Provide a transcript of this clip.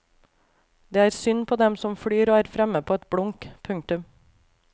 Det er synd på dem som flyr og er fremme på et blunk. punktum